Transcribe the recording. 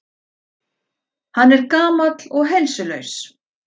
Hann er gamall og heilsulaus.